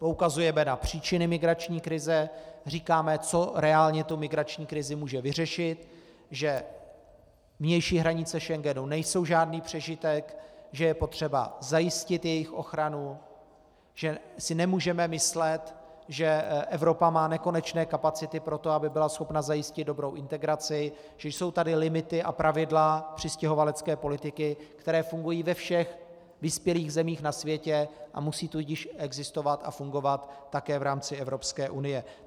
Poukazujeme na příčiny migrační krize, říkáme, co reálně tu migrační krizi může vyřešit, že vnější hranice Schengenu nejsou žádný přežitek, že je potřeba zajistit jejich ochranu, že si nemůžeme myslet, že Evropa má nekonečné kapacity pro to, aby byla schopna zajistit dobrou integraci, že jsou tady limity a pravidla přistěhovalecké politiky, která fungují ve všech vyspělých zemích na světě, a musí tudíž existovat a fungovat také v rámce Evropské unie.